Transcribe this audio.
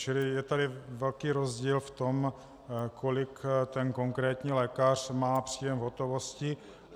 Čili je tady velký rozdíl v tom, kolik ten konkrétní lékař má příjem v hotovosti.